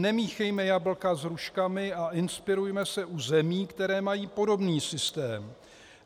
Nemíchejme jablka s hruškami a inspirujme se u zemí, které mají podobný systém.